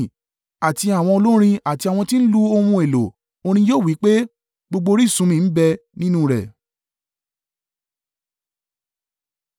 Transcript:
Àti àwọn olórin àti àwọn tí ń lu ohun èlò orin yóò wí pé, “Gbogbo orísun mi ń bẹ nínú rẹ.”